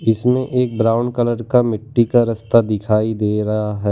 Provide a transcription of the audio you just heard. इसमें एक brown colour का मिट्टी का रस्ता दिखाई दे रहा है।